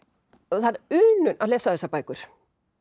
það er unun að lesa þessar bækur